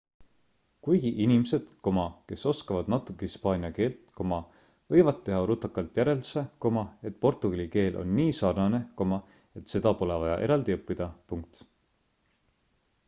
kuigi inimesed kes oskavad natuke hispaania keelt võivad teha rutakalt järelduse et portugali keel on nii sarnane et seda pole vaja eraldi õppida